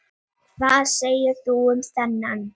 Amman keypti stólinn að lokum.